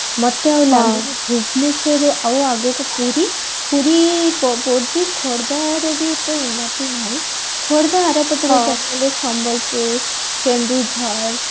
ମତେ ଆଉ ଲାଗୁନି ଭୁବନେଶ୍ବରରୁ ଆଉ ଆଗକୁ ପୁରୀ ପୁରୀ ଉନ୍ନତି ନାହି ଖୋର୍ଦ୍ଧା ଆରପଟକୁ ଚାଲିଗଲେ ସମ୍ବଲପୁର କେନ୍ଦୁଝର